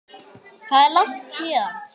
Hvað er langt héðan?